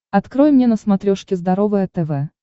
открой мне на смотрешке здоровое тв